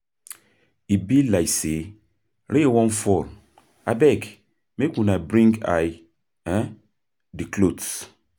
E be like say rain wan fall, abeg make una bring I the cloths.